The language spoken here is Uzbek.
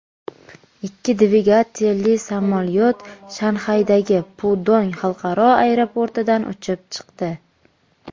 Ikki dvigatelli samolyot Shanxaydagi Pudong xalqaro aeroportidan uchib chiqdi.